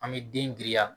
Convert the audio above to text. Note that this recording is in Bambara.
An bɛ den giriya